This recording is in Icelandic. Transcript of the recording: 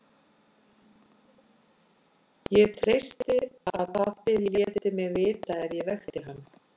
Ég treysti á að pabbi léti mig vita ef ég vekti hann.